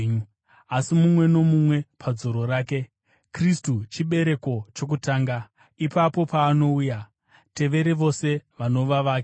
Asi mumwe nomumwe padzoro rake: Kristu chibereko chokutanga; ipapo paanouya, tevere vose vanova vake.